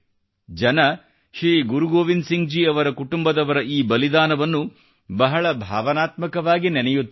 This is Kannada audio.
ಜನರು ಶ್ರೀ ಗುರು ಗೋವಿಂದ್ ಸಿಂಗ್ ಜಿ ಅವರ ಕುಟುಂಬದವರ ಈ ಬಲಿದಾನವನ್ನು ಬಹಳ ಭಾವನಾತ್ಮಕವಾಗಿ ನೆನೆಯುತ್ತಾರೆ